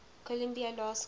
columbia law school